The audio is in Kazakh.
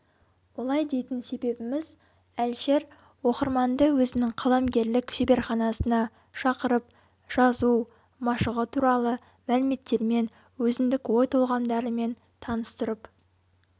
олай дейтін себебіміз әлішер оқырманды өзінің қаламгерлік шеберханасына шақырып жазу машығы туралы мәліметтермен өзіндік ой толғамдарымен таныстырып